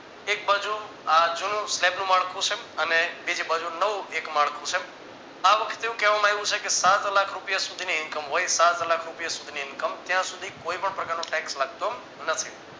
એક બાજુ આ જૂનું slab નું માળખું છે અને બીજી બાજુ નવું એક માળખું છે આ વખતે એવું કહેવામાં આવ્યું છે કે સાત લાખ રૂપિયા સુધીની income હોય સાતલાખ રૂપિયા સુધી ની income હોય ત્યાં સુધી કોઈ પણ પ્રકારનું tax લાગતું નથી